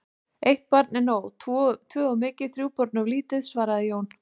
Eitt barn er nóg, tvö of mikið, þrjú börn of lítið, svaraði Jón.